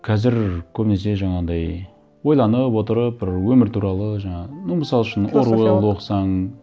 қазір көбінесе жаңағындай ойланып отырып бір өмір туралы жаңа ну мысал үшін оруэллды оқысаң